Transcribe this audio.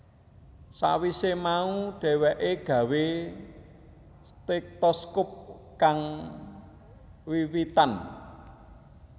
Sawise mau dheweke gawé stetoskop kang wiwitan